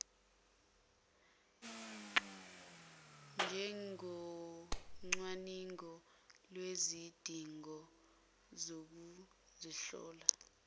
njengocwaningo lwezidingo zokuzihlola